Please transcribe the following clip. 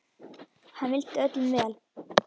Hann vildi öllum vel.